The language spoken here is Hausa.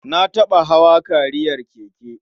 Na taɓa hawa kariyar keke.